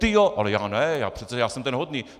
Ty jo, ale já ne, já jsem přece ten hodný.